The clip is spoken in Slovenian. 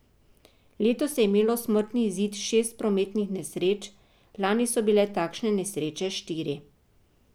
Letos je imelo smrtni izid šest prometnih nesreč, lani so bile takšne nesreče štiri.